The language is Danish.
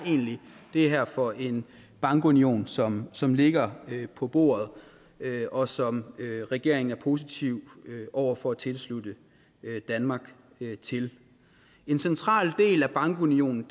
egentlig er for en bankunion som som ligger på bordet og som regeringen er positiv over for at tilslutte danmark til en central del af bankunionen